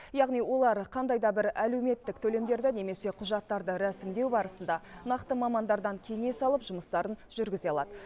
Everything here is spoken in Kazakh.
яғни олар қандай да бір әлеуметтік төлемдерді немесе құжаттарды рәсімдеу барысында нақты мамандардан кеңес алып жұмыстарын жүргізе алады